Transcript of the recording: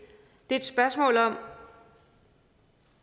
er et spørgsmål om